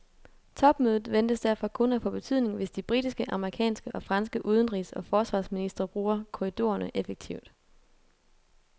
Topmødet ventes derfor kun at få betydning, hvis de britiske, amerikanske og franske udenrigs og forsvarsministre bruger korridorerne effektivt.